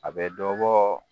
A bɛ dɔ bɔ